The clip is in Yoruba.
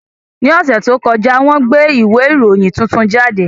Ní ọ̀sẹ̀ tó kọjá, wọ́n gbé ìwé ìròyìn tuntun jáde